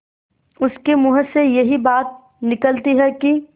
उसके मुँह से यही बात निकलती है कि